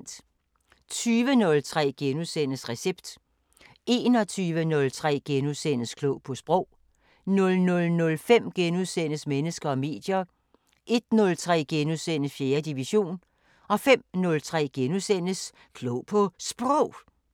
20:03: Recept * 21:03: Klog på Sprog * 00:05: Mennesker og medier * 01:03: 4. division * 05:03: Klog på Sprog *